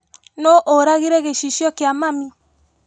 Nũu ũragire gĩcicio kia mami?